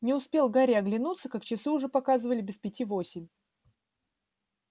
не успел гарри оглянуться как часы уже показывали без пяти восемь